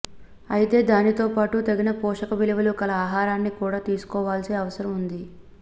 అయితే దీనితోపాటు తగిన పోషక విలువలు కల ఆహారాన్ని కూడా తీసుకోవాల్సిన అవసరం వుంది